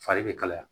Fari bɛ kalaya